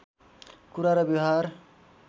कुरा र व्यवहार